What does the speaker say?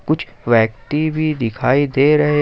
कुछ व्यक्ति भी दिखाई दे रहे --